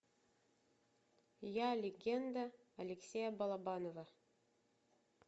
я легенда алексея балабанова